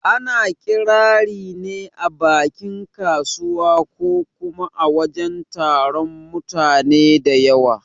Ana Ƙirari ne a bakin kasuwa ko kuma a wajen taron mutane da yawa